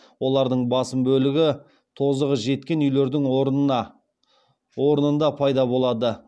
олардың басым бөлігі тозығы жеткен үйлердің орнына орнында пайда болады